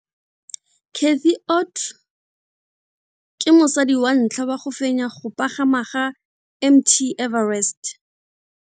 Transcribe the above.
Cathy Odowd ke mosadi wa ntlha wa go fenya go pagama ga Mt Everest.